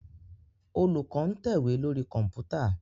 Olùkó ń tẹ̀wé lórí Kọ̀ǹpútà